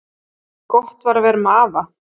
Gott var að vera með afa.